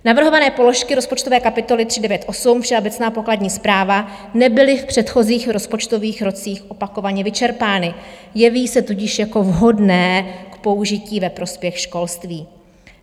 Navrhované položky rozpočtové kapitoly 398, Všeobecná pokladní správa, nebyly v předchozích rozpočtových rocích opakovaně vyčerpány, jeví se tudíž jako vhodné k použití ve prospěch školství.